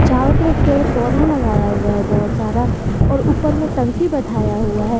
चारों तरफ पेड़ पौधा लगाया हुआ है बहुत सारा और ऊपर में टंकी बैठाया हुआ है।